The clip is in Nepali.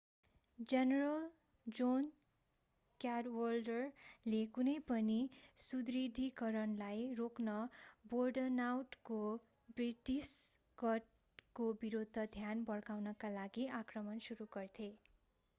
जेनेरल जोन क्याडवाल्डरले कुनै पनि सुदृढीकरणलाई रोक्न बोर्डनटाउनको ब्रिटिस गढको विरूद्ध ध्यान भड्काउका लागि आक्रमण सुरु गर्थे